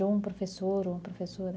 Ou um professor ou uma professora?